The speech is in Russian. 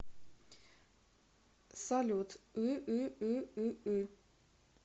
салют ыыыыы